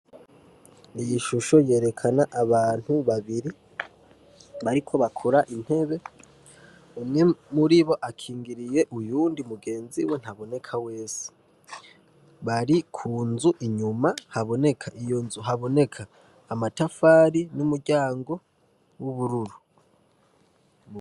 Ishusho yerekana abantu babiri bariko bakora intebe umwe muri bo akingiriye umwe mugenzi we ntaboneka wese, bari inyuma kunzu haboneka amatafari n'umuryango wubururu.